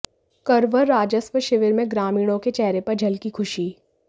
करवर राजस्व शिविर में ग्रामीणों के चेहरे पर झलकी खुशी